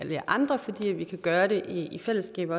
jer andre fordi vi kan gøre det i fællesskab